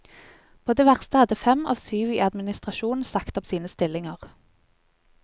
På det verste hadde fem av syv i administrasjonen sagt opp sine stillinger.